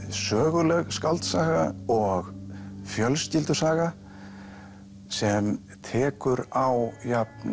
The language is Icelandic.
söguleg skáldsaga og fjölskyldusaga sem tekur á jafn